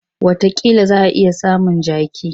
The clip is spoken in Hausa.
Watakila za a iya samun jaki.